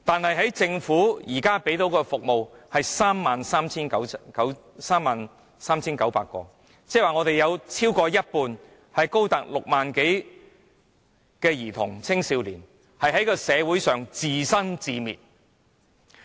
然而，政府提供的服務名額卻只有 33,900 個，即是說有過半數兒童和青少年須在社會上自生自滅。